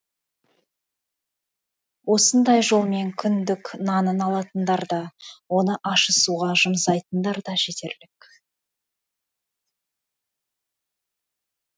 осындай жолмен күндік нанын алатындар да оны ащы суға жұмсайтындар да жетерлік